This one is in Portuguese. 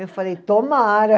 Eu falei, tomara.